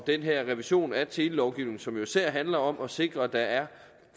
den her revision af telelovgivningen som jo især handler om at sikre at der er